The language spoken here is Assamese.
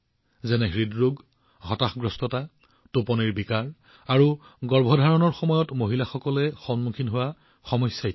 যেনে হৃদৰোগ হতাশা টোপনিৰ বিকাৰ আৰু গৰ্ভধাৰণৰ সময়ত মহিলাসকলে সন্মুখীন হোৱা সমস্যা